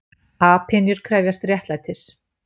Apynjur krefjast réttlætis